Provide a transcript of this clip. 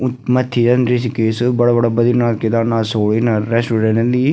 उथ मथ्थी यन ऋषिकेश बड़ा बड़ा बद्रीनाथ केदारनाथ सो इना रेस्टोरेंट रेंदी।